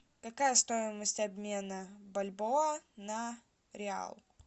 какая стоимость обмена бальбоа на реал